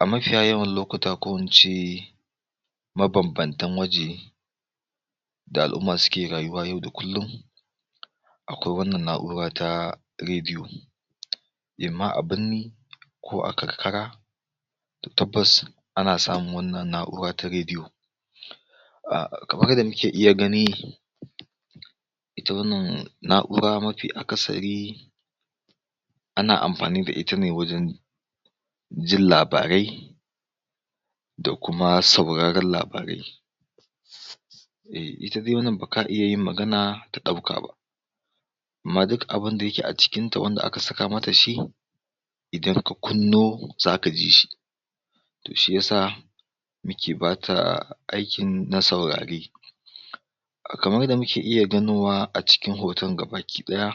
A mafiya yawan lokuta ko in ce, mabambamtan waje da al'umma ke rayuwa yau da kullum, akwai wannan na'ura ta rediyo, imma a binni, ko a karkara, to tabbas ana samun wannan na'ura ta rediyo. ahh kamar yadda muke iya gani, ita wannan na'ura mafi akasari, ana amfani da ita ne wajen jin labarai, da kuma sauraren labarai. Ehh ita dai wannan baka iya yin magana ta ɗauka ba, amma duk abunda yake a ciinta wanda aka saka mata shi, idan ka kunno, zaka ji shi. To shi ya sa muke bata aikin na saurare, Kamara yadda muke iya ganowa a cikin hoton gaba ɗaya,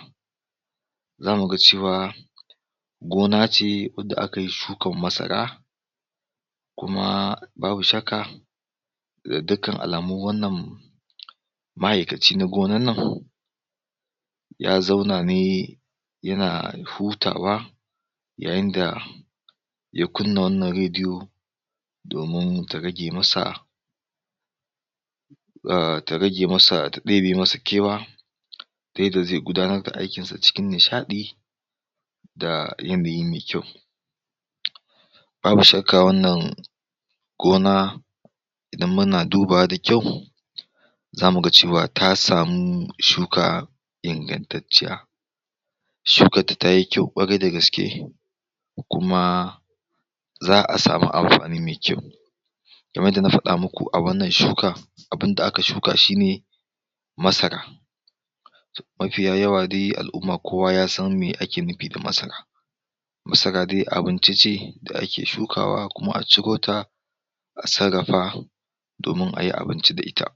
za mu ga cewa, gona ce wadda akayi shukar masara, kuma babu shakka, da dukan alamu wannan maaikaci na gonannan ya zauna ne yana hutawa, yayinda, ya kunna wanna rediyo, domin ta rage masa ah ta rage masa, ta ɗebe masa kewa, yadda zai gudanar da aikinsa cikin nishaɗi, da yanayi mai kyau. Babu shakka wannan gona, in muna dubawa da kyau, zamuga cewa ta samu shuka ingantacciya. Shukarta tayi kyau ƙwarai da gaske, kuma za'a sami amfani mai kyau kamar yadda na faɗa muku a wannan shukar, abunda aka shuka shine masara. Mafiya yawa dai al'umma kowa ya san me ake nufi da masara, masara dai abinci ce da ake shukawa kuma a cirota, a sarrafa, domin ayi abinci da ita.